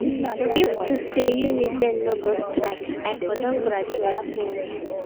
If to say Uniben no go strike I for don graduate since